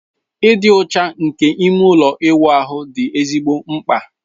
Ịdị ọcha nke ime ụlọ ịwụ ahụ dị ezigbo mkpa